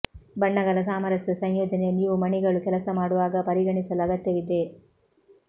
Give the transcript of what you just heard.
ಬಣ್ಣಗಳ ಸಾಮರಸ್ಯ ಸಂಯೋಜನೆಯು ನೀವು ಮಣಿಗಳು ಕೆಲಸ ಮಾಡುವಾಗ ಪರಿಗಣಿಸಲು ಅಗತ್ಯವಿದೆ